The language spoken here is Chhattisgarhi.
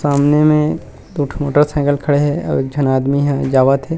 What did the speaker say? सामने में दो ठो मोटरसाइकिल खड़े हे अऊ एक झन आदमी ह जावत हे।